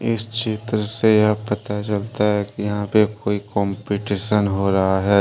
इस चित्र से यह पता चलता है कि यहां पे कोई कंपटीशन हो रहा है।